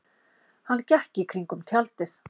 Hann gekk í kringum tjaldið.